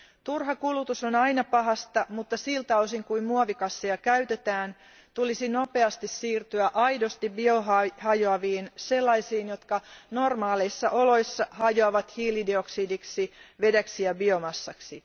Turha kulutus on aina pahasta, mutta siltä osin kuin muovikasseja käytetään, tulisi nopeasti siirtyä aidosti biohajoaviin, sellaisiin jotka normaaleissa oloissa hajoavat hiilidioksidiksi, vedeksi ja biomassaksi.